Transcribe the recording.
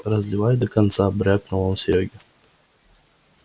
разливай до конца брякнул он серёге